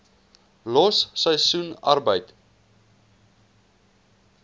los seisoensarbeid